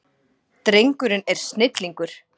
Drengurinn er snillingur.